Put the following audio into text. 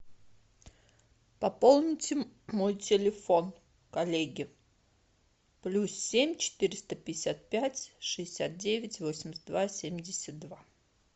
пополните мой телефон коллеги плюс семь четыреста пятьдесят пять шестьдесят девять восемьдесят два семьдесят два